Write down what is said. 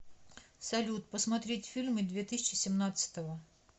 салют посмотреть фильмы две тысячи семнадцатого